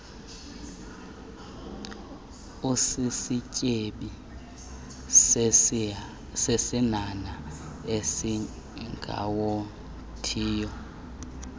usisityebi sesinhanha esingawothiyo